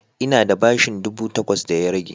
Ina da bashin ɗubu takwas da ya rage